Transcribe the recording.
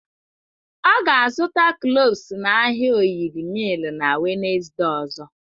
Ọ ga-azụta kloves n'ahịa oyil miil na Wenezde ozo.